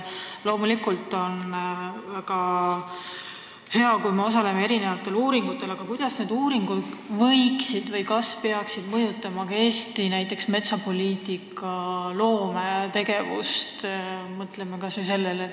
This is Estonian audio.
Loomulikult on väga hea, kui me osaleme mitmesugustes uuringutes, aga kuidas need uuringud võiksid mõjutada Eesti metsapoliitikat?